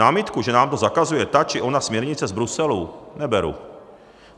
Námitku, že nám to zakazuje ta či ona směrnice z Bruselu, neberu.